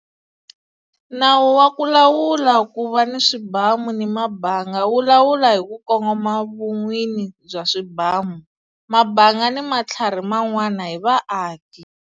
Nawu wa ku Lawula Ku Va ni Swibamu ni Mabanga wu lawula hi ku kongoma vun'wini bya swibamu, mabanga ni matlhari man'wana hi vaaki.